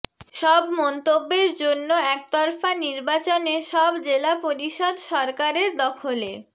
সব মন্তব্যের জন্য একতরফা নির্বাচনে সব জেলা পরিষদ সরকারের দখলে